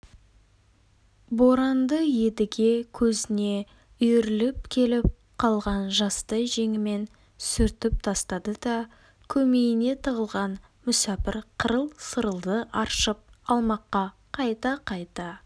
боранды едіге көзіне үйіріліп келіп қалған жасты жеңімен сүртіп тастады да көмейіне тығылған мүсәпір қырыл-сырылды аршып алмаққа қайта-қайта